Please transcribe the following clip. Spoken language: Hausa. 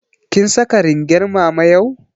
Kin saka ringar mama yau?